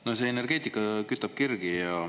No see energeetika kütab kirgi.